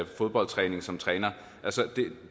fodboldtræning som træner